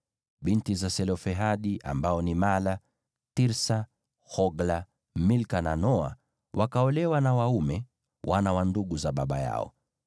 Binti za Selofehadi, ambao ni Mahla, Tirsa, Hogla, Milka na Noa, wakaolewa na waume, wana wa ndugu za baba yao.